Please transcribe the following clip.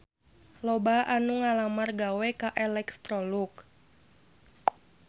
Loba anu ngalamar gawe ka Electrolux